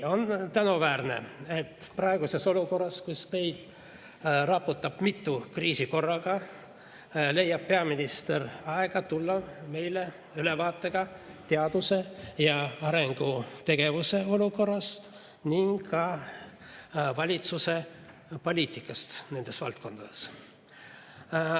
On tänuväärne, et praeguses olukorras, kus meid raputab mitu kriisi korraga, leiab peaminister aega tulla andma meile ülevaadet teadus‑ ja arendustegevuse olukorrast ning ka valitsuse poliitikast nendes valdkondades.